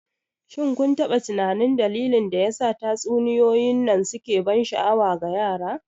shin kun taɓa tunanin dalilin da yasa tatsuniyoyin nan suke ban sha'awa ga yara?